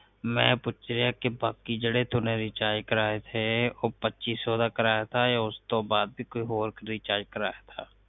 ਮੈ ਪੁਸ਼ਿਆ ਕਿ ਬਾਕੀ ਜਿਹੜਾ ਤੁਹਾਡਾ ਰਿਚਾਰਜ ਕਰਵਾਇਆ ਸੀ ਉਹ ਪੱਚੀ ਸੋ ਦਾ ਕਰਾਇਆ ਸਾ ਜਾ ਉਸਤੋਂ ਬਾਦ ਵੀ ਹੋਰ ਰਿਚਾਰਜ ਕਰਵਾਇਆ ਸਾ